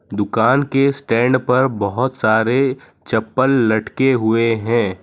दुकान के स्टैंड पर बहोत सारे चप्पल लटके हुए हैं।